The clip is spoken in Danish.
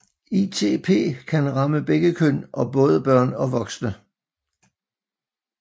ITP kan ramme begge køn og både børn og voksne